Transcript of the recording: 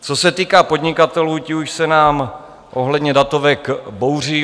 Co se týká podnikatelů, ti už se nám ohledně datovek bouří.